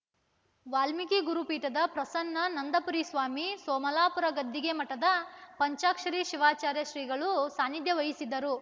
ವಾಲ್ಮೀಕಿ ಗುರುಪೀಠದ ಪ್ರಸನ್ನನಂದಪುರಿ ಸ್ವಾಮಿ ಸೋಮಲಾಪುರ ಗದ್ದಿಗೆ ಮಠದ ಪಂಚಾಕ್ಷರಿ ಶಿವಾಚಾರ್ಯ ಶ್ರೀಗಳು ಸಾನಿಧ್ಯ ವಹಿಸಿದರು